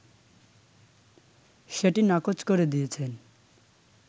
সেটি নাকচ করে দিয়েছেন